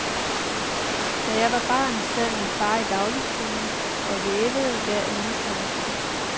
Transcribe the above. Da jeg var barn, sad min far i dagligstuen og vævede hver eneste aften.